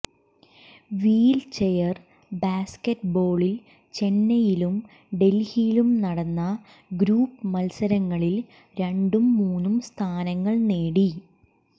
wheel chair ബാസ്കറ്റ് ബോളിൽ ചെന്നൈയിലും ഡൽഹിയിലും നടന്ന ഗ്രൂപ്പ് മൽസരങ്ങളിൽ രണ്ടും മൂന്നും സ്ഥാനങ്ങൾ നേടി